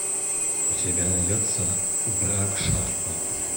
у тебя найдется враг шарпа